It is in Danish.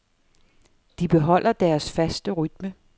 De beholder deres faste rytme.